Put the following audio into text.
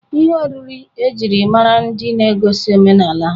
Ihe oriri e jiri mara ndị na-egosi omenala ha.